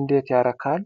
እንዴት ያረካል!